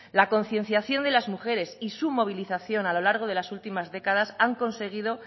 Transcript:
la concienciación de la mujeres y su movilización a lo largo de las últimas décadas han conseguido